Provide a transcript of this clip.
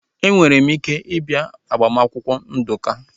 Enwere m ike ị bịa maka agbamakwụkwọ Nduka